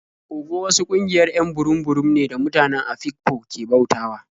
Ogo wasu ƙungiayr 'yan burum-burum ne da mutane Afikpo ke bautawa.